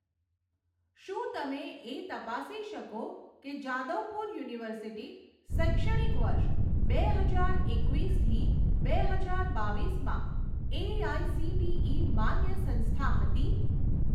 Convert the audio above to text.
શું તમે એ તપાસી શકો કે જાદવપુર યુનિવર્સિટી શૈક્ષણિક વર્ષ બે હજાર એકવીસથી બે હજાર બાવીસમાં એઆઇસીટીઇ માન્ય સંસ્થા હતી?